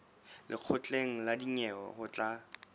lekgotleng la dinyewe ho tla